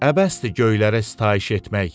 Əbəsdir göylərə sitayiş etmək.